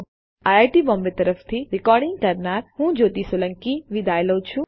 iit Bombay તરફથી spoken tutorial project માટે ભાષાંતર કરનાર હું કૃપાલી પરમાર વિદાય લઉં છું